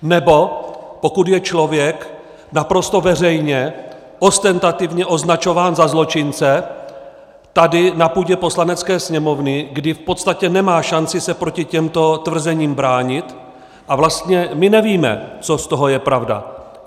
Nebo pokud je člověk naprosto veřejně ostentativně označován za zločince tady, na půdě Poslanecké sněmovny, kdy v podstatě nemá šanci se proti těmto tvrzením bránit a vlastně my nevíme, co z toho je pravda.